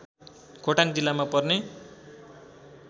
खोटाङ जिल्लामा पर्ने